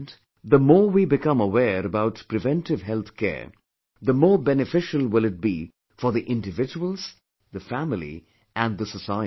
And, the more we become aware about preventive health care, the more beneficial will it be for the individuals, the family and the society